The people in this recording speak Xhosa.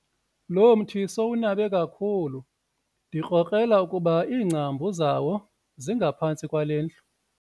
Lo mthi sowunabe kakhulu ndikrokrela ukuba iingcambu zawo zingaphantsi kwale ndlu.